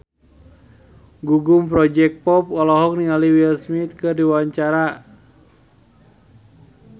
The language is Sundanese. Gugum Project Pop olohok ningali Will Smith keur diwawancara